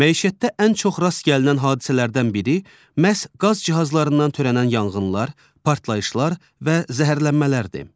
Məişətdə ən çox rast gəlinən hadisələrdən biri məhz qaz cihazlarından törənən yanğınlar, partlayışlar və zəhərlənmələrdir.